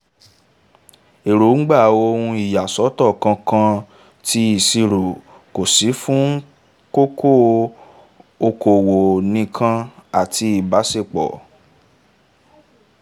èróńgbà ohun ìyàsọ́tọ̀ ǹkankan' tí ìṣirò kò sì fún kókó okòwò nìkan àti ìbáṣepọ̀